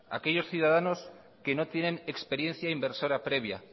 aquellos ciudadanos que no tienen experiencia inversora previa